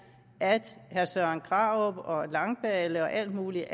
at herre søren krarup og langballe og alle mulige